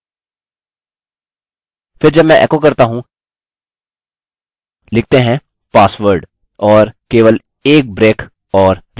फिर जब मैं एको करता हूँ लिखते हैं password और केवल एक ब्रेक और repeat password